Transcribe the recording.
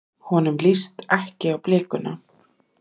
Honum líst ekki á blikuna.